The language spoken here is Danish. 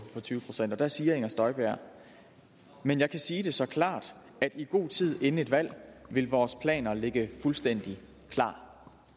tyve procent og der siger inger støjberg men jeg kan sige det så klart at i god tid inden et valg vil vores planer ligge fuldstændig klar